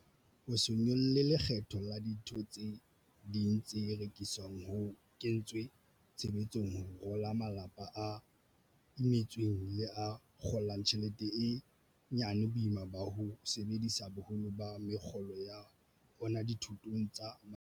Ho se nyolle lekgetho la dintho tse ding tse rekiswang ho kentswe tshebetsong ho rola malapa a imetsweng le a kgo lang tjhelete e nyane boima ba ho sebedisa boholo ba mekgolo ya ona dithotong tsa malapa.